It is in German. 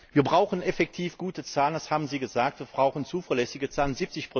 Wir brauchen effektiv gute Zahlen das haben Sie gesagt wir brauchen zuverlässige Zahlen.